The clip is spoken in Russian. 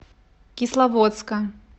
кисловодска